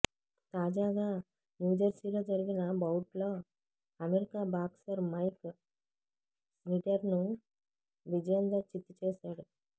తాజాగా న్యూజెర్సీలో జరిగిన బౌట్లో అమెరికా బాక్సర్ మైక్ స్నిడెర్ను విజేందర్ చిత్తు చేసాడు